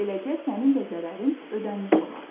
Beləcə sənin də zərərin ödənilmiş olar.